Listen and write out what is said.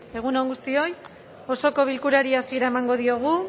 egun on guztioi osoko bilkurari hasiera emango diogu